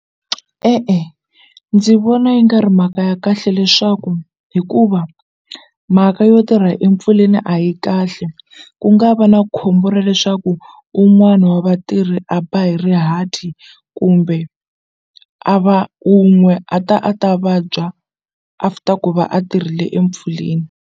E-e ndzi vona yi nga ri mhaka ya kahle leswaku hikuva mhaka yo tirha etimpfuleni a yi kahle ku nga va na khombo ra leswaku un'wana wa vatirhi a ba hi rihati kumbe a va unwe a ta a ta vabya after ku va a tirhile empfuleni.